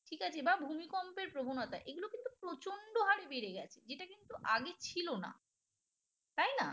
ঠিক আছে বা ভূমিকম্পের প্রবণতা এগুলো কিন্তু প্রচণ্ড হারে বেড়ে গেছে যেটা কিন্তু আগে ছিল না তাই না?